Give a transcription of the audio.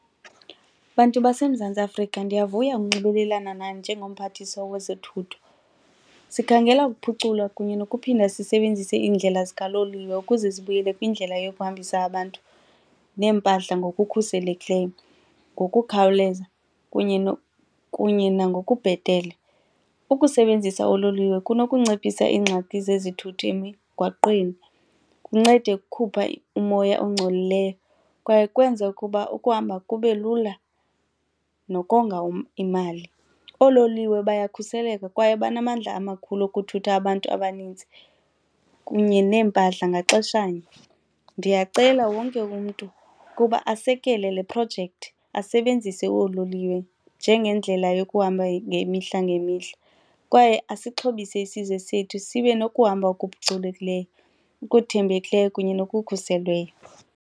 Bantu baseMzantsi Afrika, ndiyavuya ukunxibelelana nani njengoMphathiswa wezoThutho. Sikhangela ukuphucula kunye nokuphinda sisebenzise iindlela zikaloliwe ukuze zibuyele kwindlela yokuhambisa abantu neempahla ngokukhuselekileyo, ngokukhawuleza kunye kunye nangokubhetele. Ukusebenzisa oololiwe kunokunciphisa ingxaki zezithuthi emigwaqweni kuncede ukukhupha umoya engcolileyo kwaye kwenze ukuba ukuhamba kube lula nokonga imali. Oololiwe bayakhuseleka kwaye banamandla amakhulu okuthutha abantu abaninzi kunye neempahla ngaxeshanye. Ndiyacela wonke umntu ukuba asekele le projekthi, asebenzise oololiwe njengendlela yokuhamba yemihla ngemihla kwaye asixhobise isizwe sethu sibe nokuhamba okuphucukileyo, okuthembekileyo kunye nokukhuselweyo.